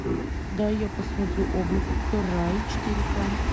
дай я посмотрю облако рай четыре ка